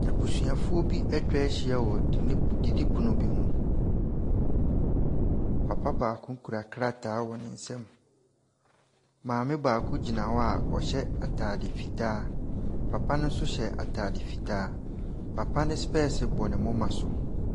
Abusuafoɔ bi ɛtwa hyia wɔ didipono bi ho. Papa baako kura krataa wɔ ne nsam . Maame baako gyina hɔ a ɔhyɛ ataade fitaa. Papa no nso hyɛ ataade fitaa. Papa no spɛs bɔ ne momma so.